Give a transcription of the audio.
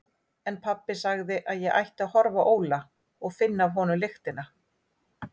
En pabbi sagði að ég ætti að horfa á Óla og finna af honum lyktina.